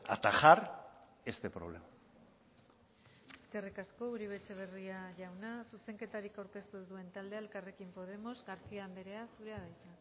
atajar este problema eskerrik asko uribe etxebarria jauna zuzenketarik aurkeztu ez duen taldea elkarrekin podemos garcía anderea zurea da hitza